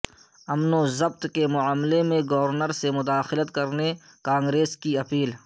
امن و ضبط کے معاملہ میں گورنر سے مداخلت کرنے کانگریس کی اپیل